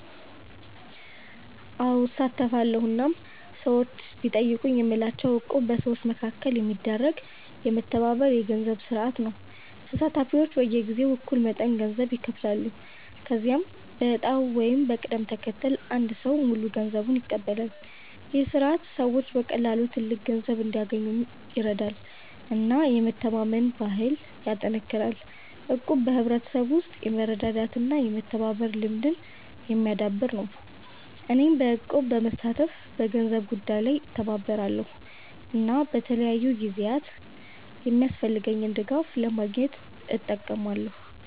አዎ፣ እሳተፋለሁ እናም ሰዎች ቢጠይቁኝ የምላቸው እቁብ በሰዎች መካከል የሚደረግ የመተባበር የገንዘብ ስርዓት ነው። ተሳታፊዎች በየጊዜው እኩል መጠን ገንዘብ ይከፍላሉ፣ ከዚያም በዕጣ ወይም በቅደም ተከተል አንድ ሰው ሙሉ ገንዘቡን ይቀበላል። ይህ ስርዓት ሰዎች በቀላሉ ትልቅ ገንዘብ እንዲያገኙ ይረዳል እና የመተማመን ባህልን ያጠናክራል። እቁብ በሕብረተሰብ ውስጥ የመረዳዳት እና የመተባበር ልምድን የሚያዳብር ነው። እኔም በእቁብ በመሳተፍ በገንዘብ ጉዳይ ላይ እተባበራለሁ እና በተለያዩ ጊዜያት የሚያስፈልገኝን ድጋፍ ለማግኘት እጠቀማለሁ።